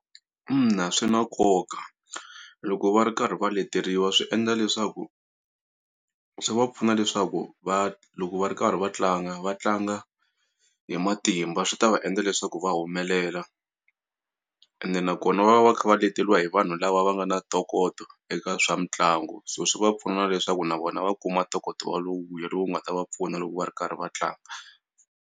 Ina, swi na nkoka loko va ri karhi va leteriwa swi endla leswaku swi va pfuna leswaku va loko va ri karhi va tlanga va tlanga hi matimba swi ta va endla leswaku va humelela ene nakona va va kha va leteliwa hi vanhu lava va nga na ntokoto eka swa mitlangu so swi va pfuna leswaku na vona va kuma ntokoto wa lowuya lowu nga ta va pfuna loko va ri karhi va tlanga.